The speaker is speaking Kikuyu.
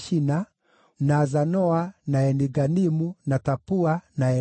na Zanoa, na Eni-Ganimu, na Tapua, na Enamu,